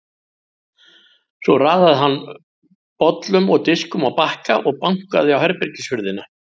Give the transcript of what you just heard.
Svo raðaði hann bollum og diskum á bakka og bankaði á herbergishurðina.